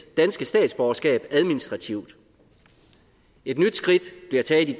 danske statsborgerskab administrativt et nyt skridt bliver taget i